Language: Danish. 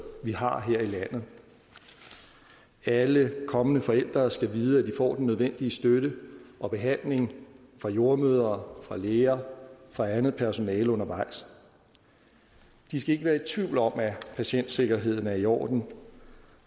vi har her i landet alle kommende forældre skal vide at de får den nødvendige støtte og behandling fra jordemødre fra læger fra andet personale undervejs de skal ikke være i tvivl om at patientsikkerheden er i orden